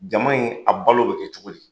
Jama in a balo bɛ kɛ cogo di?